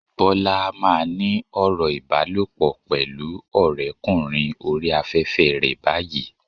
Bọ́lá á máa ní ọ̀rọ̀ ìbálòpọ̀ pẹ̀lú ọ̀rẹ́ kùnrin oríi afẹ́fẹ́ rẹ báyìí.